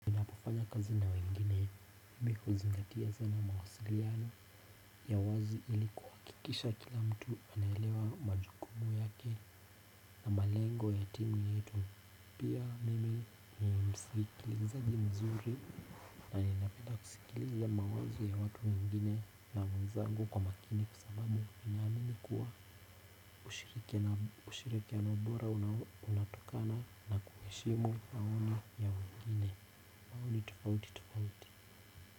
Kufanya kazi na wengine mimi huzingatia sana mawasiliano ya wazi ili kuhakikisha kila mtu anaelewa majukumu yake na malengo ya timu yetu. Pia mimi ni msikilizaji mzuri na ninapenda kusikiliza mawazo ya watu wengine na wenzangu kwa makini kwa sababu ninaamini kuwa ushirikiano bora unatokana na kuheshimu maoni ya wengine. Maoni tofauti tofauti.